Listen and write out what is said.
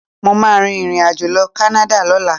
Mo máa rìnrìnàjò lọ Canada lọ́la.